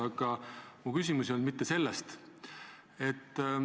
Aga minu küsimus ei olnud mitte selle kohta.